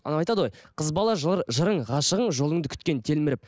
ыыы ана айтады ғой қыз бала жыр жырың ғашығың жолыңды күткен телміріп